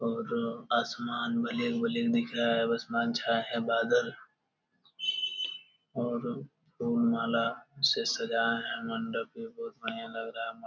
और जो आसमान भले ही मलिन दिख रहा है बस मान छायें है बादल और फूल माला से सजायें हैं मंडप ये बहुत बढ़िया लग रहा है --